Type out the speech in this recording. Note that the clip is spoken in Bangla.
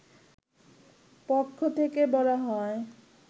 পক্ষ থেকে বলা হয়